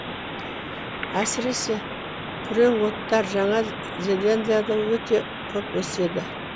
әсіресе күреңоттар жаңа зеландияда өте көп өседі